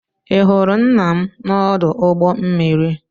ị hụrụ nna m n'ọdụ ụgbọ mmiri?